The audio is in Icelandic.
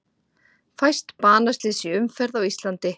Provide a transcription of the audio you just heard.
Fæst banaslys í umferð á Íslandi